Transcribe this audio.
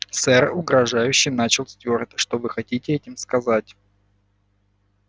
сэр угрожающе начал стюарт что вы хотели этим сказать